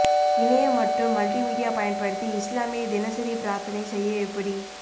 இணைய மற்றும் மல்டிமீடியா பயன்படுத்தி இஸ்லாமிய தினசரி பிரார்த்தனை செய்ய எப்படி